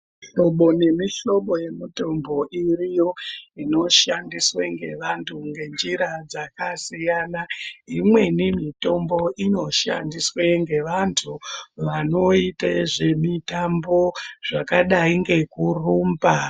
Mihlobo nemihlobo yemitombo iriyo, inoshandiswe ngevantu ngenjira dzakasiyana. Imweni mitombo inoshandiswe ngevantu vanoite zvemitambo ,zvakadai ngekurumba.